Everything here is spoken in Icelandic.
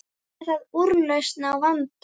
Er það úrlausn á vanda?